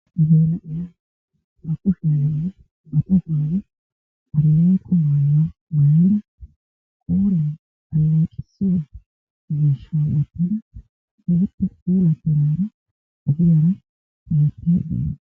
Geela'iya ba kushshiyaninne ba tohuwaan aleeqo mayuwaa maayada ba qooriyaan aleeqissiya miishshaa wottada keehiippe pulattidaara ogiyan hemettaydda dawusu.